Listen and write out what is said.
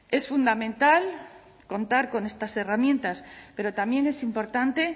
es fundamental contar con estas herramientas pero también es importante